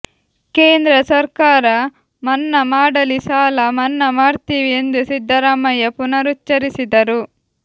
ಕೇಂದ್ರ ಸರ್ಕಾರ ಮನ್ನಾ ಮಾಡಲಿ ಸಾಲ ಮನ್ನಾ ಮಾಡ್ತೀವಿ ಎಂದು ಸಿದ್ದರಾಮಯ್ಯ ಪುನರುಚ್ಚರಿಸಿದರು